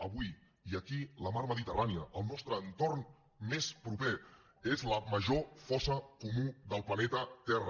avui i aquí la mar mediterrània el nostre entorn més proper és la major fossa comuna del planeta terra